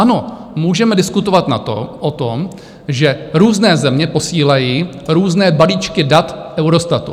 Ano, můžeme diskutovat o tom, že různé země posílají různé balíčky dat Eurostatu.